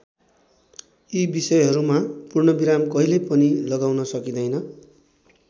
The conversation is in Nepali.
यी विषयहरूमा पूर्ण विराम कहिले पनि लगाउन सकिँदैन।